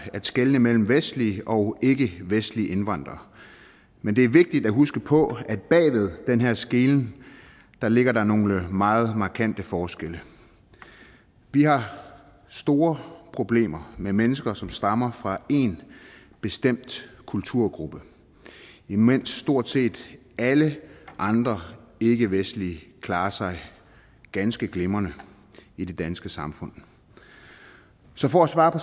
at skelne mellem vestlige og ikkevestlige indvandrere men det er vigtigt at huske på at bag ved den her skelnen ligger der nogle meget markante forskelle vi har store problemer med mennesker som stammer fra én bestemt kulturgruppe imens stort set alle andre ikkevestlige klarer sig ganske glimrende i det danske samfund så for at svare på